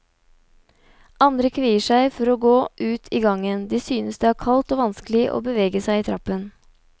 Andre kvier seg for å gå ut i gangen, de synes det er kaldt og vanskelig å bevege seg i trappen.